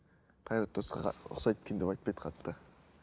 қайрат нұртасқа ұқсайды екен деп айтпайды қатты